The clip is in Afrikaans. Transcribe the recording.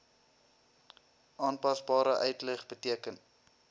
aanpasbare uitleg beteken